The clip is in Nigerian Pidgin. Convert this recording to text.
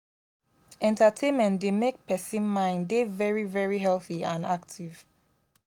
entertaimment dey make person mind dey very very healthy and active